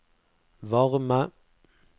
varme